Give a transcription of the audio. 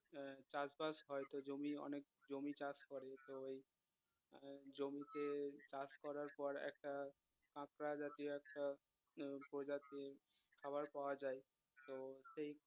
চাষবাস হয়তো জমি অনেক জমি চাষ করে তো এই জমিতে চাষ করার পর একটা কাঁকড়া জাতীয় একটা ভোজ আছে খাবার পাওয়া যায় তো এই